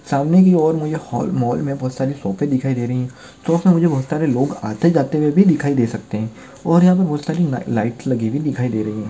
सामने की ओर मुझे हॉल मॉल मे बहुत सारी शॉप दिखाई दे रही है शॉप मे मुझे बहुत सारे लोग आते जाते हुए भी दिखाई दे सकते है और यहा पे बहुत सारी ला लाइटस लगी हुई दिखाई दे रही है।